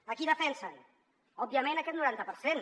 a qui defensen òbviament a aquest noranta per cent